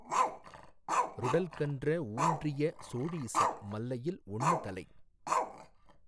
றுடல்கன்ற ஊன்றிய சோழீசர் மல்லையில் ஒண்ணுதலை